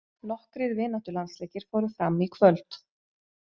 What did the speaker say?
Nokkrir vináttulandsleikir fóru fram í kvöld.